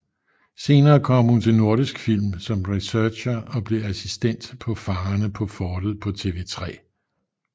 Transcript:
Senere kom hun til Nordisk Film som researcher og blev assistent på Fangerne på Fortet på TV3